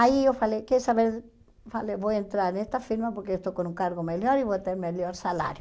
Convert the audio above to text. Aí eu falei, quer saber, falei vou entrar nessa firma porque estou com um cargo melhor e vou ter melhor salário.